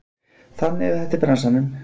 Þannig er þetta í bransanum